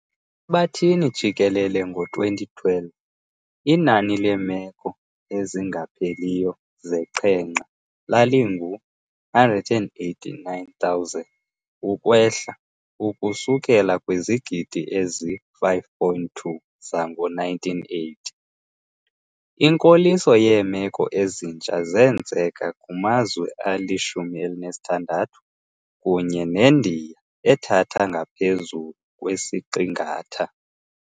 Ehlabathini jikelele ngo-2012, inani leemeko ezingapheliyo zeqhenqa lalingu-189,000 ukwehla ukusukela kwizigidi ezi-5.2 zangoo-1980. Inkoliso yeemeko ezintsha zenzeka kumazwe ali-16, kunye neNdiya ethatha engaphezulu kwesiqingatha.